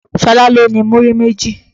Ṣọlá ló ni múrí méjì.